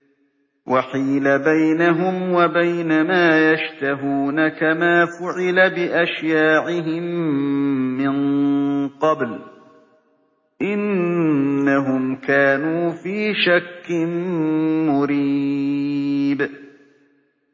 وَحِيلَ بَيْنَهُمْ وَبَيْنَ مَا يَشْتَهُونَ كَمَا فُعِلَ بِأَشْيَاعِهِم مِّن قَبْلُ ۚ إِنَّهُمْ كَانُوا فِي شَكٍّ مُّرِيبٍ